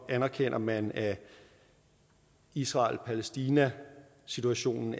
anerkender man at israel palæstina situationen